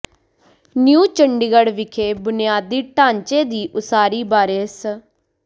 new Chandigarh ਵਿਖੇ ਬੁਨਿਆਦੀ ਢਾਂਚੇ ਦੀ ਉਸਾਰੀ ਬਾਰੇ ਸ